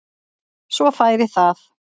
Svo færi það.